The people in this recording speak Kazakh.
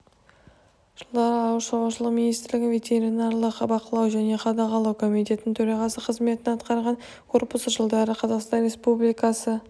жылдары ауыл шаруашылығы министрлігінің ветеринарлық бақылау және қадағалау комитетінің төрағасы қызметін атқарған корпусы жылдары қазақстан республикасы